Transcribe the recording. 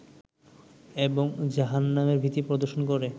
এবং জাহান্নামের ভীতি প্রদর্শন করে